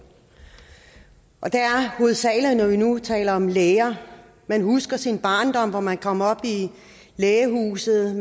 og det er hovedsagelig når vi nu taler om læger man husker fra sin barndom at man kom op i lægehuset